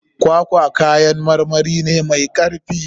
Kwakwa kayan marmari ne mai karfi.